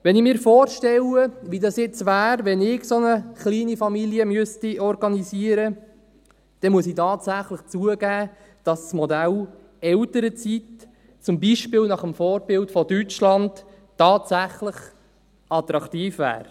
Wenn ich mir vorstelle, wie das jetzt wäre, wenn ich so eine kleine Familie organisieren müsste, dann muss ich tatsächlich zugeben, dass das Modell Elternzeit, zum Beispiel nach dem Vorbild Deutschlands, tatsächlich attraktiv wäre: